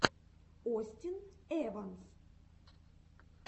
остин эванс